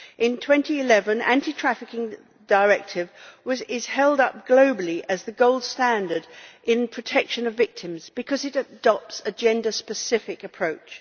In 2011, the Anti trafficking Directive was held up globally as the gold standard in protection of victims because it adopts a gender specific approach.